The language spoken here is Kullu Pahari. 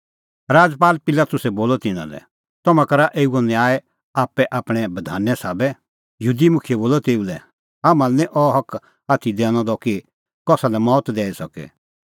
राजपाल पिलातुसै बोलअ तिन्नां लै तम्हैं करा एऊओ न्याय आप्पै आपणैं बधाने साबै यहूदी मुखियै बोलअ तेऊ लै हाम्हां लै निं अह हक आथी दैनअ द कि कसा लै मौत दैई सके